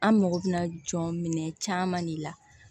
An mago bɛ jɔ minɛn caman de la